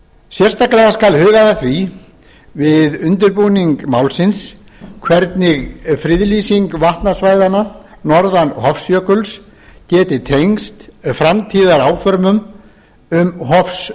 sérstaklega skal hugað að því við undirbúning málsins hvernig friðlýsing vatnasvæðanna norðan hofsjökuls geti tengst framtíðaráformum um